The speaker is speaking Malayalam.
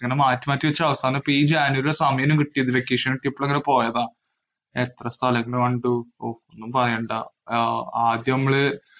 ഇങ്ങനെ മാറ്റി മാറ്റി വച്ചു. അപ്പൊ ഈ ജനുവരീലാ സമയം ഇങ്ങനെ കിട്ടിനു. vacation എത്തിയപ്പോഴാ ഇങ്ങനെ പോയത്. എത്ര സ്ഥലങ്ങള് കണ്ടു. ഉം ഒന്നും പറയണ്ട.